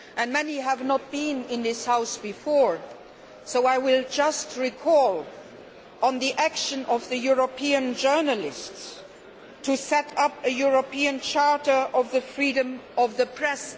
Many of you have not been in this House before so I will just recall the action of the European journalists to set up a European Charter on Freedom of the Press.